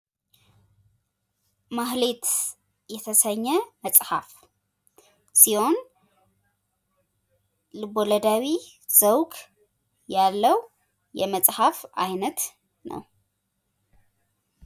ማህሌት የተሰኘ መጽሐፍ ሲሆን ልቦለዳዊ ዘውግ ያለው የመጽሐፍ አይነት ነው።